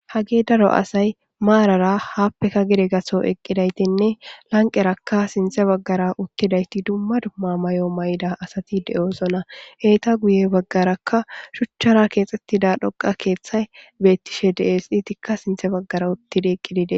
Hage daro asay maranra happeka gede gaso eqidaysinne lanqeraka sintha bagara uttidayti dumma dumma mayo mayida asati de'osona ya bagaraka shuchara kexetids cora ketgay betishede'es izzika sinthe bagara